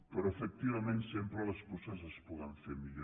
però efectivament sempre les coses es poden fer millor